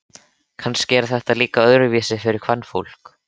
Kannski er þetta líka öðruvísi fyrir kvenfólk.